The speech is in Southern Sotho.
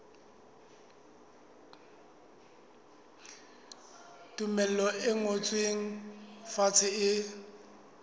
tumello e ngotsweng fatshe e